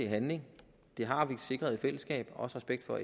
handling det har vi sikret i fællesskab og respekt for at